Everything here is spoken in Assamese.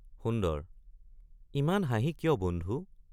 সুন্দৰ—ইমান হাঁহি কিয় বন্ধু।